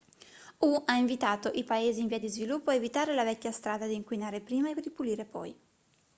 hu ha invitato i paesi in via di sviluppo a evitare la vecchia strada di inquinare prima e ripulire poi